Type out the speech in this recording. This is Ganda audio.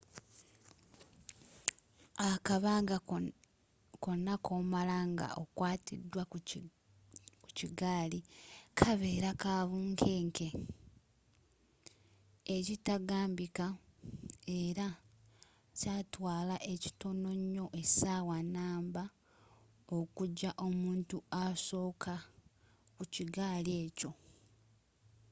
akabanga konna koomala nga okwatiddwa ku bigaali kabeera ka bunkeenke ekitagambika ela kyaatwaala ekitono nyo essawa numba okujja omuntu asokka ku kigaali ekyo